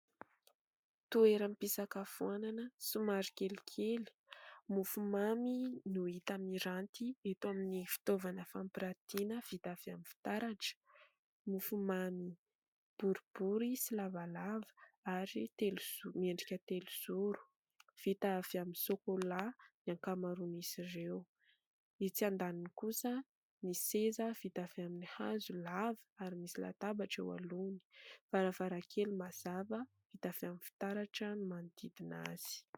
Toeram-pisakafoanana somary kelikely. Mofo mamy no hita miranty eto amin'ny fitaovana fampirantiana vita avy amin'ny fitaratra. Mofo mamy boribory sy lavalava ary miendrika telo-zoro. Vita avy amin'ny sokola ny ankamaroan'izy ireo. Etsy andaniny kosa ny seza vita avy amin'ny hazo lava ary misy latabatra eo aloany. Varavaran-kely mazava vita avy amin'ny fitaratra no manodidina azy.